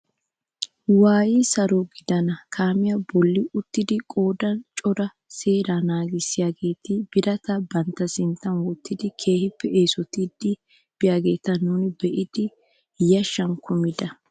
Waayidi saro gidana kaamiyaa bolli uttidi qoodan cora seeraa nagissiyaageti birataa bantta sinttan wottidi keehippe eesottiidi biyaageta nuuni be'idi yashshan kumida!